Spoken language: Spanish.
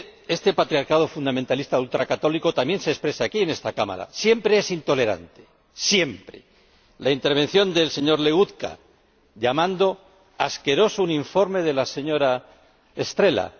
Este patriarcado fundamentalista ultracatólico también se expresa aquí, en esta Cámara siempre es intolerante, siempre ―la intervención del señor Legutko llamando asqueroso un informe de la señora Estrela